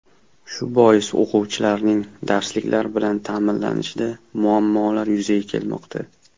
Shu bois o‘quvchilarning darsliklar bilan ta’minlanishida muammolar yuzaga kelmoqda.